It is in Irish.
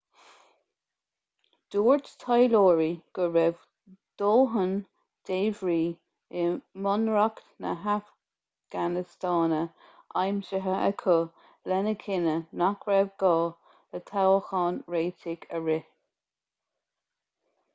dúirt taidhleoirí go raibh dóthain débhrí i mbunreacht na hafganastáine aimsithe acu lena chinneadh nach raibh gá le toghchán réitigh a rith